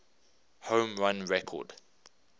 home run record